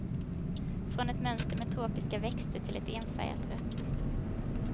Från ett mönster med tropiska växter till ett enfärgat rött.